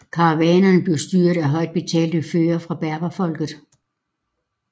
Karavanerne blev styret af højt betalte førere fra berberfolket